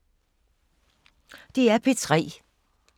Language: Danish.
DR P3